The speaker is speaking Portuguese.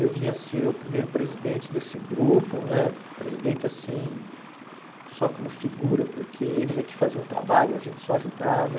Eu vim a ser o primeiro presidente desse grupo né, presidente assim, só como figura, porque eles é que faziam o trabalho, a gente só ajudava.